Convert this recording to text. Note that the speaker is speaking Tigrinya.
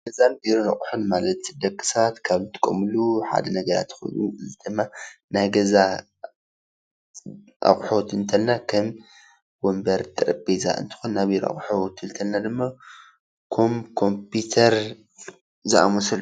ናይ ገዛን ቢሮን ኣቁሑ ማለት ደቂ ሰባት ካብ ዝጥቀሙሉ ሓደ ነገራት ኮይኑ እዙይ ድማ ናይ ገዛ ኣቁሑ ክንብል ከለና ከም ወንበር፣ ጠረጴዛ፣ እንትኮን ናይ ቢሮ ኣቁሑ ክንብል ከለና ድማ ከም ኮምፒተር ዝኣመሰሉ።